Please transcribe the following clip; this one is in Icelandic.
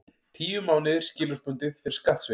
Tíu mánuðir skilorðsbundið fyrir skattsvik